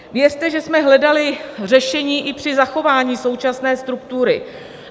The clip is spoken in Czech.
Věřte, že jsme hledali řešení i při zachování současné struktury.